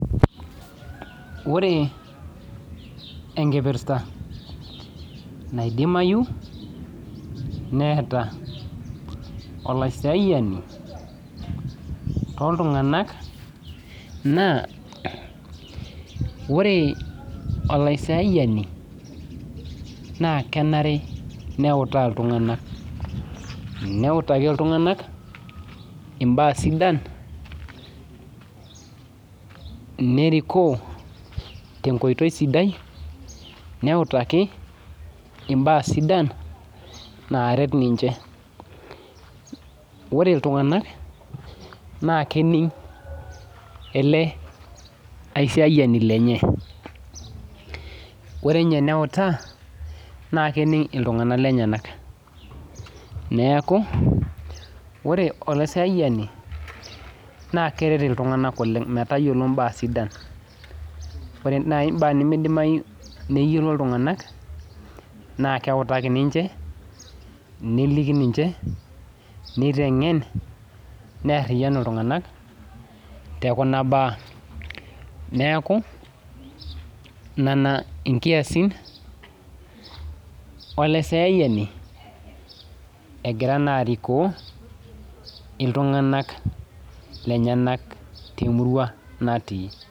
Ore enkipirsa naidimayi neeta olasiyani toltunganak na ore olaisiayani na kenare neutaa ltunganak neautaki ltunganak mbaa sidan neriko tenkoitoi sidai, neutaa tenkoitoi sidai naret ninchebore ltunganak na kening ore enye teneuta na kening ltunganak lenye neaku ore olasiayani na keret ltunganak oleng metayiolo mbaa sidan ore neyiolo ltunganak na keutaki ninche neliki ninche, nitengen na neariyanu ltunganak tekuna baa neaku nona inkiasin olaisiayani egira na arikoo ltunganak lenyenak temurua natii.